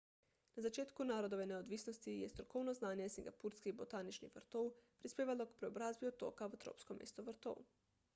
na začetku narodove neodvisnosti je strokovno znanje singapurskih botaničnih vrtov prispevalo k preobrazbi otoka v tropsko mesto vrtov